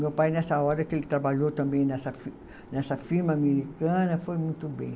Meu pai nessa hora que ele trabalhou também nessa fi, nessa firma americana, foi muito bem.